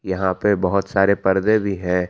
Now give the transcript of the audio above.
यहां पे बहोत सारे पर्दे भी हैं।